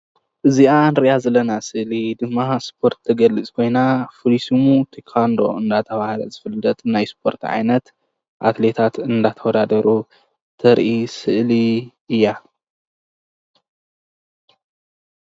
እዚኣ ንሪኣ ዘለና ስእሊ ድማ ስፖርት ተገሊፅ ኮይና ፍሉይ ስሙ ቴካንዶ እንዳተባህለ ዝፍለጥ ናይ ስፖርት ዓይነት ኣትሌታት እናተወዳደሩ ተርኢ ስእሊ እያ።